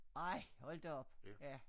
Ej hold da op ja